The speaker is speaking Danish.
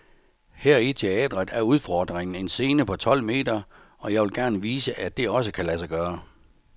Her i teatret er udfodringen en scene på tolv meter, og jeg vil gerne vise, at det også kan lade sig gøre.